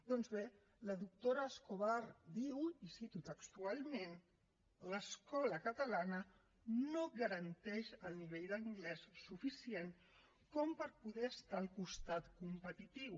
doncs bé la doctora escobar diu i cito textualment l’escola catalana no garanteix el nivell d’anglès suficient com per poder estar al costat competitiu